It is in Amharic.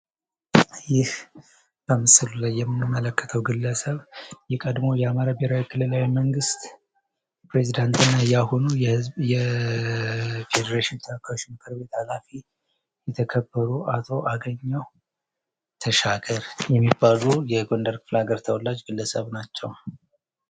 ይህ በምስሉ ላይ የምንመለከተው ግለሰብ የቀድሞው የአማራ ብሄራዊ ክልላዊ መንግስት ፕሬዚዳንት እና የአሁኑ የፌዴሬሽን ተወካዮች ምክር ቤት ሃላፊ የተከበሩ አቶ አገኘሁ ተሻገር የሚባሉ የጎንደር ክፍለሃገር ተወላጅ ግለሰብ ናቸው።